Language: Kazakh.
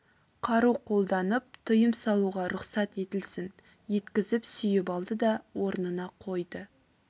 қару қолданып тыйым салуға рұқсат етілсін еткізіп сүйіп алды да орнына қойды